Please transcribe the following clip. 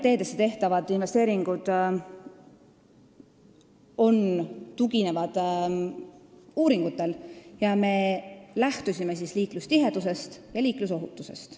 Teedesse tehtavad investeeringud tuginevad uuringutele, me lähtusime liiklustihedusest ja liiklusohutusest.